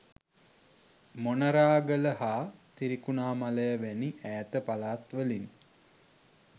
මොනරාගල හා ත්‍රිකුණාමලය වැනි ඈත පළාත්වලින්